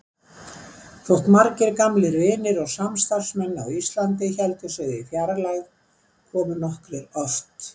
Þótt margir gamlir vinir og samstarfsmenn á Íslandi héldu sig í fjarlægð komu nokkrir oft.